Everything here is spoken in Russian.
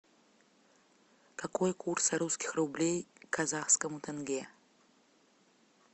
какой курс русских рублей к казахскому тенге